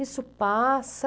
Isso passa...